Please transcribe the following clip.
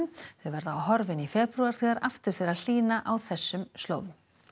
þau verða horfin í febrúar þegar aftur fer að hlýna á þessum slóðum